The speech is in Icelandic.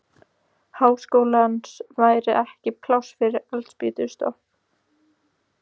Háskólans væri ekki pláss fyrir eldspýtustokk!